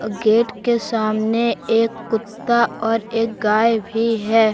अ gate के सामने एक कुत्ता और एक गाय भी है।